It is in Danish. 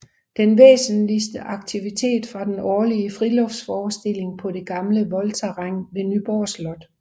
Den væsentligste aktivitet var den årlige friluftsforestilling på det gamle voldterræn ved Nyborg Slot